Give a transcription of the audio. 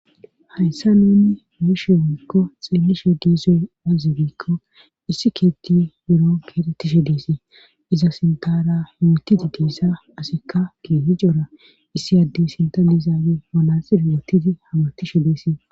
hayssa nuni meeshe woyikko xeemmishe diizoy azibiikko issi keetti biro kedettishe deesii iza sintara himotidi diissa asikka gee hicora issi addey sinta nizaabe manaxi rootidi hamartishe deesii